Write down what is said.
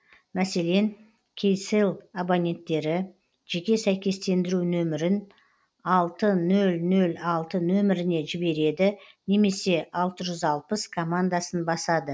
мәселен кселл абоненттері жеке сәйкестендіру нөмірін алты нөл нөл алты нөміріне жібереді немесе алты жүз алпыс командасын басады